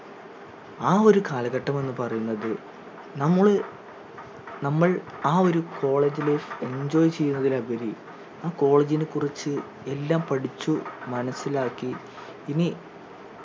ആ ഒരു കാലഘട്ടം എന്ന് പറയുന്നത് നമ്മള് നമ്മൾ ആ ഒരു കോളേജ് life enjoy ചെയ്യുന്നതിനുപരി ആ college നെ കുറിച്ച് എല്ലാം പഠിച്ചു മനസിലാക്കി ഇനി